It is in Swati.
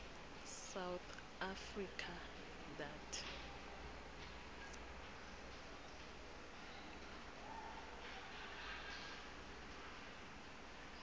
south africa that